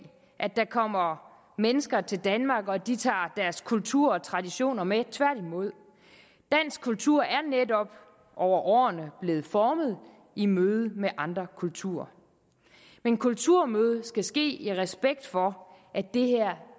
at der kommer mennesker til danmark og at de tager deres kultur og traditioner med tværtimod dansk kultur er netop over årene blevet formet i mødet med andre kulturer men kulturmødet skal ske i respekt for at det her